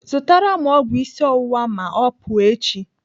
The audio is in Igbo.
Zụtara m ọgwụ isi ọwụwa ma ọ pụọ echi.